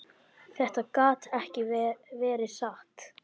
Þetta gat ekki verið satt.